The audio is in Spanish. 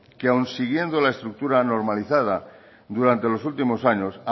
que aun siguiendo la estructura normalizada durante los últimos años